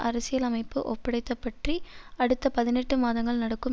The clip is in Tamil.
அரசியல் அமைப்பு ஒப்படைத்தப்பற்றி அடுத்த பதினெட்டு மாதங்கள் நடக்கும்